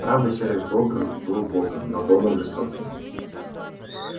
правда серый бобр был богом но богом жестоким